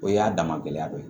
O y'a dama gɛlɛya dɔ ye